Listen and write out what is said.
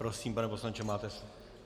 Prosím, pane poslanče, máte slovo.